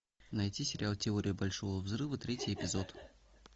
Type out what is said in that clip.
найти сериал теория большого взрыва третий эпизод